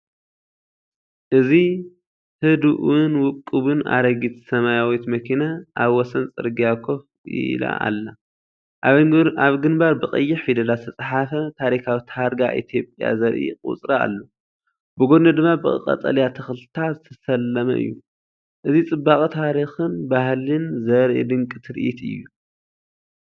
እዚ ህዱእን ውቁብን ኣረጊት ሰማያዊት መኪና ኣብ ወሰን ጽርግያ ኮፍ ኢላ ኣላ። ኣብ ግንባር ብቀይሕ ፊደላት ዝተጻሕፈ ታሪኻዊ ታርጋ ኢትዮጵያዘርኢ ቁጽሪ ኣሎ። ብጎድኑ ድማ ብቐጠልያ ተኽልታት ዝተሰለመ እዩ። እዚ ጽባቐ ታሪኽን ባህልን ዘርኢ ድንቂ ትርኢት እዩ።